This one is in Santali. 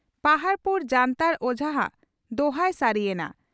ᱯᱟᱦᱟᱰ ᱯᱩᱨ ᱡᱟᱱᱛᱟᱲ ᱚᱡᱷᱟ ᱦᱟᱜ ᱫᱚᱦᱟᱭ ᱥᱟᱹᱨᱤ ᱭᱮᱱᱟ